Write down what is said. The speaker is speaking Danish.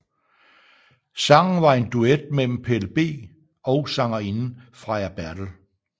Sangen var en duet mellem PelleB og sangerinden Freja Bertel